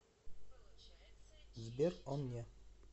сбер он не